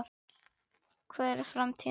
Hver er framtíð hans?